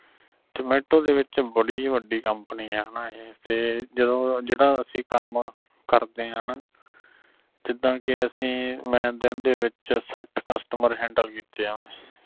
zomato ਦੇ ਵਿਚ ਬੜੀ ਬੱਡੀ company ਆ ਹਣਾ ਇਹ ਤੇ ਜਦੋਂ ਜਿਹੜਾ ਅਸੀਂ ਕੰਮ ਕਰਦੇ ਆਂ ਹਣਾ ਜਿਦਾਂ ਕੇ ਅਸੀਂ ਮੈਂ ਦਿਨ ਦੇ ਵਿਚ ਸੱਠ customer handle ਕੀਤੇ ਆ